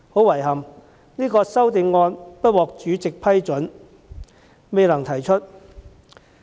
遺憾的是，這項修正案不獲主席批准，未能提出。